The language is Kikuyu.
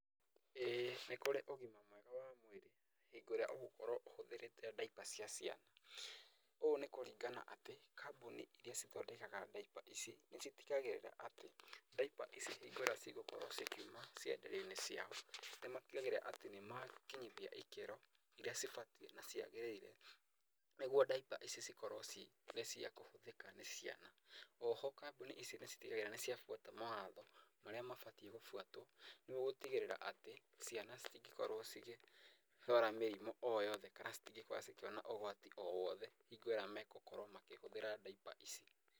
ĩĩ nĩ kũrĩ ũgima mwega wa mwĩrĩ hingo ĩrĩa ũgũkorwo ũhũthĩrĩte diaper cia ciana. Ũũ nĩ kũringana atĩ kambuni iria cithindekaga diaper ici, nĩ citigagĩrĩra atĩ diaper ici hingo ĩrĩa cigũkorwo cikiuma cienderio-inĩ ciao, nĩ matigagĩrĩra atĩ nĩ makinyithia ikĩro iria cibatiĩ na ciagĩrĩire nĩguo diaper ici cikorwo cirĩ cia kũhũthĩka nĩ ciana. Oho kambuni ici nĩ citigagĩrĩra atĩ nĩ ciabuata mawatho marĩa mabatiĩ gũbuatwo nĩguo gũtigĩrĩra atĩ ciana citingĩkorwo cigĩrwara mĩrimũ o yothe kana citingĩkorwo cikĩona ũgwati o wothe hingo ĩrĩa megũkorwo makĩhũthĩra diaper ici.